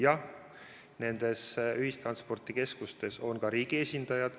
Jah, nendes ühistranspordikeskustes on ka riigi esindajad.